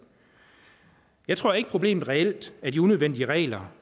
jeg tror ikke problemet reelt er de unødvendige regler